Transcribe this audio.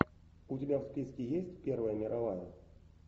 у тебя в списке есть первая мировая